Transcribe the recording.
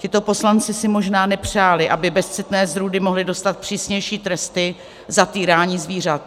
Tito poslanci si možná nepřáli, aby bezcitné zrůdy mohly dostat přísnější tresty za týrání zvířat.